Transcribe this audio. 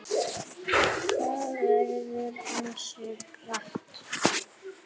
Það verður ansi bratt.